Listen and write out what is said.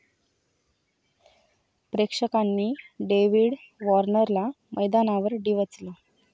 प्रेक्षकांनी डेविड वॉर्नरला मैदानावर डिवचलं